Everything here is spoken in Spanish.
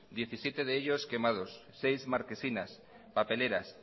diecisiete de ellos quemados seis marquesinas papeleras